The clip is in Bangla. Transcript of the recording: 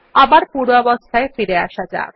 আবার পূর্বাবস্থায় ফিরে আসা যাক